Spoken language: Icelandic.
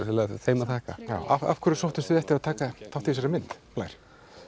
þeim að þakka já af hverju sóttust þið eftir að taka þátt í þessari mynd Blær